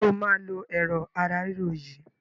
Ǹjẹ́ o máa lo Ẹ̀rọ̀ ara ríro yìí?